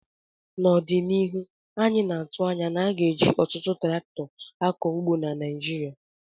N' ọdịnihu anyị na-atụ anya na a ga-eji ọtụtụ traktọ akọ ugbo na Naijiria